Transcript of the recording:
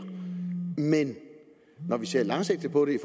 men når vi ser langsigtet på det i